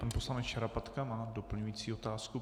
Pan poslanec Šarapatka má doplňující otázku.